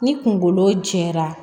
Ni kungolo jɛra